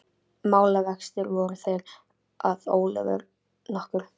Málavextir voru þeir að Ólafur nokkur